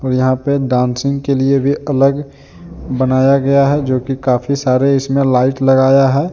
यहां पे डांसिंग के लिए भी अलग बनाया गया हैं जो की काफी सारे इसमें लाइट लगाया हैं।